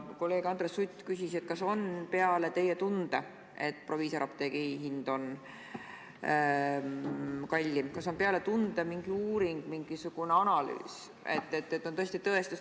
Kolleeg Andres Sutt küsis, kas peale teie tunde, et proviisoriapteegi hind on kallim, on mingi uuring, mingisugune analüüs, et see on tõesti nii.